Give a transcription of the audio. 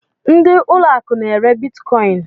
Ndị ụlọ akụ n'ere bitkọin